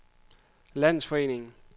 landsforening